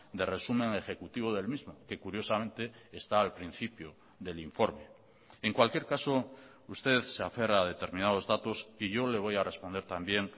de resumen ejecutivo del mismo que curiosamente está al principio del informe en cualquier caso usted se aferra a determinados datos y yo le voy a responder también